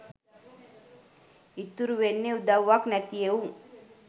ඉතුරු වෙන්නේ උදවුවක් නැති එවුන්